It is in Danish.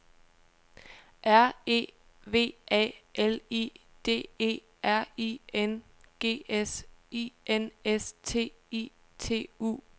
R E V A L I D E R I N G S I N S T I T U T I O N